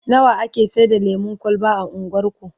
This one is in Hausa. nawa ake Saida lemun kwalba a unguwarku?